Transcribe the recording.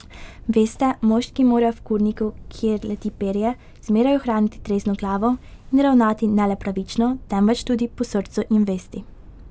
Veste, moški mora v kurniku, kjer leti perje, zmeraj ohraniti trezno glavo in ravnati ne le pravično, temveč tudi po srcu in vesti.